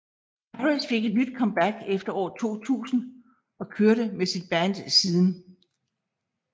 Harris fik et nyt comeback efter år 2000 og kørte med sit band siden